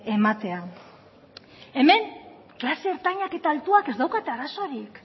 ematea hemen klase ertainak eta altuak ez daukate arazorik